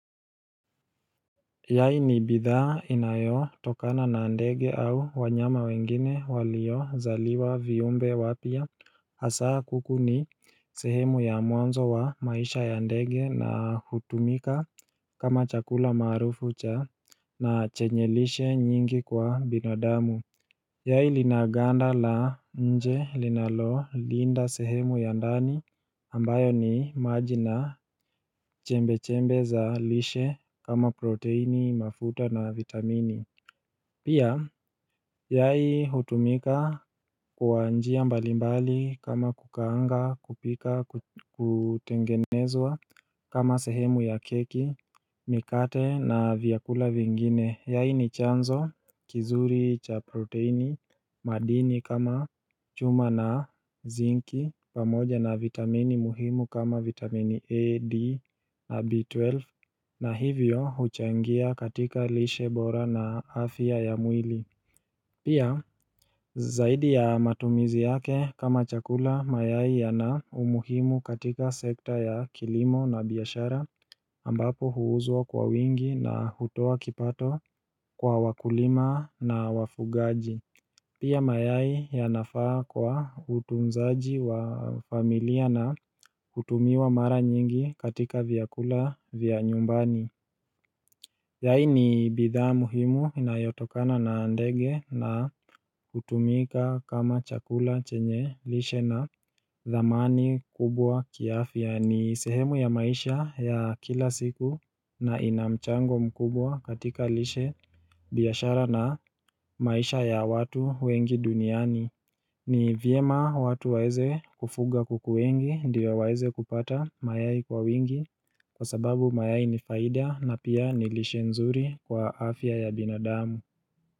Yai ni bidhaa inayotokana na ndege au wanyama wengine walio zaliwa viumbe wapya Hasa kuku ni sehemu ya mwanzo wa maisha ya ndege na hutumika kama chakula maarufu cha na chenye lishe nyingi kwa binadamu Yai linaganda la nje linalo linda sehemu ya ndani ambayo ni maji na chembe-chembe za lishe kama proteini mafuta na vitamini Pia, yai hutumika kwa njia mbalimbali kama kukaanga, kupika, kutengenezwa kama sehemu ya keki, mikate na vyakula vingine Yai ni chanzo, kizuri cha proteini, madini kama chuma na zinki, pamoja na vitamini muhimu kama vitamini A, D, B12 na hivyo huchangia katika lishe bora na afya ya mwili Pia zaidi ya matumizi yake kama chakula mayai yana umuhimu katika sekta ya kilimo na biashara ambapo huuzwa kwa wingi na hutoa kipato kwa wakulima na wafugaji Pia mayai ya nafaa kwa utunzaji wa familia na hutumiwa mara nyingi katika vyakula vya nyumbani Yai ni bidhaa muhimu inayotokana na ndege na hutumika kama chakula chenye lishe na dhamani kubwa kiafya ni sehemu ya maisha ya kila siku na inamchango kubwa katika lishe biashara na maisha ya watu wengi duniani ni vyema watu waeze kufuga kuku wengi ndo waeze kupata mayai kwa wingi kwa sababu mayai ni faida na pia ni lishe nzuri kwa afya ya binadamu.